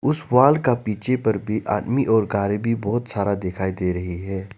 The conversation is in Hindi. उस वॉल का पिछे पर भी आदमी और कार भी बहुत सारा दिखाई दे रही है।